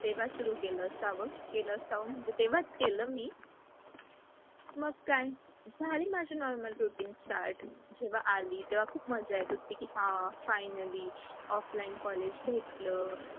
तेव्हा सुरू केल असावं, केलं असावं म्हणजे, तेव्हाच केल मी. मग काय, झाली माझी normal routine start. जेव्हा आली तेव्हा खूप मजा येत होती की हा, finally offline college भेटलं.